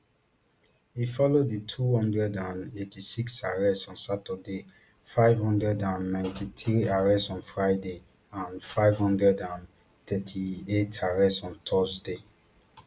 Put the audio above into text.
e follow di two hundred and eighty-six arrests on saturday five hundred and ninety-three arrests on friday and five hundred and thirty-eight arrests on thursday